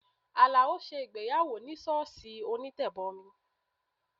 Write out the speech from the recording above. Alao ṣe ìgbéyàwó ní sọ́ọ̀sì onítẹ̀bọmi